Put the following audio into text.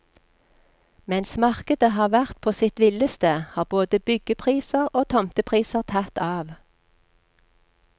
Mens markedet har vært på sitt villeste, har både byggepriser og tomtepriser tatt av.